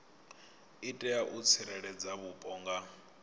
itela u tsireledza vhupo nga